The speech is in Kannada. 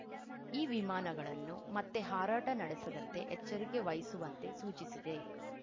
ಈ ವಿಮಾನಗಳನ್ನು ಮತ್ತೆ ಹಾರಾಟ ನಡೆಸದಂತೆ ಎಚ್ಚರಿಕೆ ವಹಿಸುವಂತೆ ಸೂಚಿಸಿದೆ